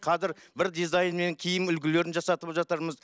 қазір бір дизайн мен киім үлгілерін жасатып жатырмыз